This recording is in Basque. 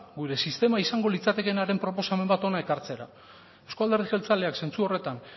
gure sistema izango litzatekeenaren proposamen bat hona ekartzera euzko alderdi jeltzaleak zentzu horretan